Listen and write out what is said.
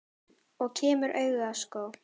Og kemur auga á skó.